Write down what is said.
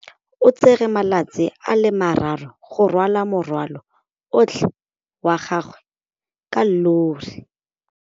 O tsere malatsi a le marraro go rwala morwalo otlhe wa gagwe ka llori.